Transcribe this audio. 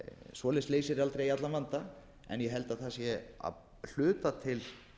svoleiðis leysir aldrei allan vanda en ég held að það sé að hluta til